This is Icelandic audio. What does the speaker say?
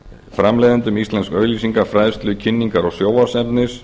framleiðendum íslensks auglýsinga fræðslu kynningar og sjónvarpsefnis